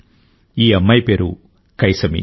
ఈ అమ్మాయి పేరు కైసమీ